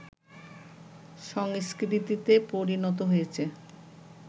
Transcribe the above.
সংস্কৃতিতে পরিণত হয়েছে